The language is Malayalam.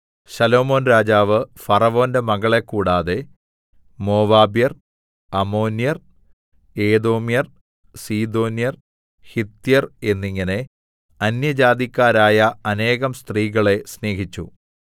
ശലോമോൻ രാജാവ് ഫറവോന്റെ മകളെ കൂടാതെ മോവാബ്യർ അമ്മോന്യർ ഏദോമ്യർ സീദോന്യർ ഹിത്യർ എന്നിങ്ങനെ അന്യജാതിക്കാരായ അനേകം സ്ത്രീകളെ സ്നേഹിച്ചു